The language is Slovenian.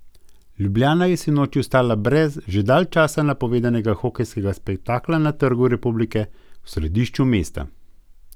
Ljubljana je sinoči ostala brez že dalj časa napovedovanega hokejskega spektakla na Trgu republike v središču mesta.